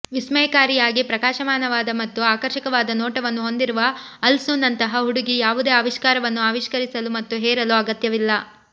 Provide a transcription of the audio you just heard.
ವಿಸ್ಮಯಕಾರಿಯಾಗಿ ಪ್ರಕಾಶಮಾನವಾದ ಮತ್ತು ಆಕರ್ಷಕವಾದ ನೋಟವನ್ನು ಹೊಂದಿರುವ ಅಲ್ಸು ನಂತಹ ಹುಡುಗಿ ಯಾವುದೇ ಆವಿಷ್ಕಾರವನ್ನು ಆವಿಷ್ಕರಿಸಲು ಮತ್ತು ಹೇರಲು ಅಗತ್ಯವಿಲ್ಲ